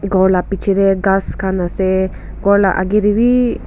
khor labichae tae ghas khan ase ghor la akae taebi.